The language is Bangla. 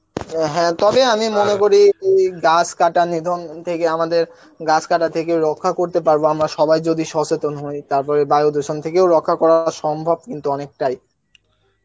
হ্যাঁ তবে আমি করি যে গাছ কাটা নিধন হেকে আমাদের গাছ কাটা থেকে রক্ষা করতে পারব যদি আমরা সবাই সচেতন হই তারপরে বায়ু দূষণ থেকেও রক্ষা করা সম্ভব কিন্তু অনেকটাই